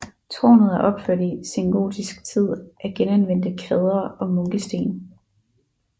Tårnet er opført i sengotisk tid af genanvendte kvadre og munkesten